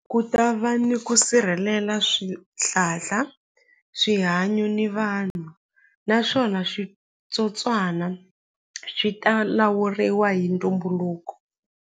Ku ta va ni ku sirhelela swihlahla swihanyo ni vanhu naswona switsotswana swi ta lawuriwa hi ntumbuluko.